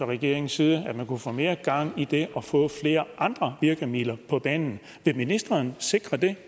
regeringens side kunne få mere gang i det og få flere andre virkemidler på banen vil ministerens sikre det